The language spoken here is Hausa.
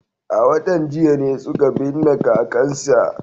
A watan jiya ne suka binne kakansa.